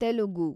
Telugu